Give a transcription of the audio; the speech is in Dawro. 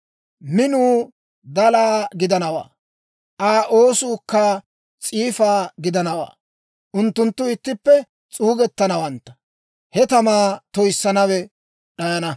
Minuu dalaa gidanawaa; Aa oosuukka s'iifa gidanawaa; unttunttu ittippe s'uugettanawantta; he tamaa toyissiyaawe d'ayana.